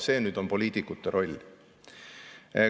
See on poliitikute roll.